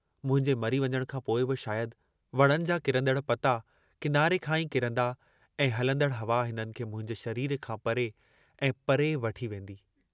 मुंहिंजे मरी वञण खां पोइ बि शायद वणनि जा किरन्दड़ पता किनारे खां ई किरन्दा ऐं हलंदड़ हवा हिननि खे मुंहिंजे शरीर खां परे ऐं परे वठी वेन्दी।